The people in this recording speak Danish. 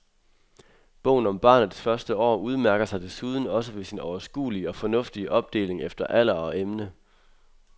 Bogen om barnets første år udmærker sig desuden også ved sin overskuelige og fornuftige opdeling efter alder og emne.